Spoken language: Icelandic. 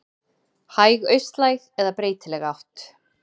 Hæg austlæg eða breytileg átt